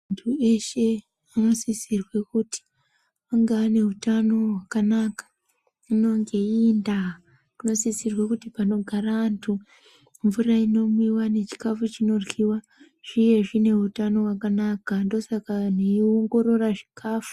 Antu eshe anosisirwe kuti ange anehutano hwakanaka. Hino ngeiyi ndaa tinosisirwe kuti panogara antu mvura inomwiwa nechikafu chinoryiwa zvive zvineutano hwakanaka, ndoosaka anhu eiongorora zvikafu.